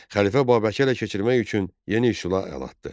Xəlifə Babəki ələ keçirmək üçün yeni üsula əl atdı.